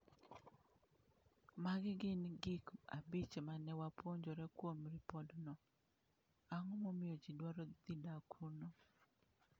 Magi gin gik abich ma ne wapuonjore kuom ripotno: Ang’o momiyo ji dwaro dhi dak kuno?